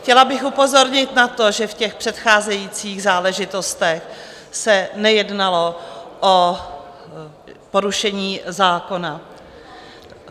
Chtěla bych upozornit na to, že v těch předcházejících záležitostech se nejednalo o porušení zákona.